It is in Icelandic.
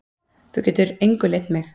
Þú getur engu leynt mig.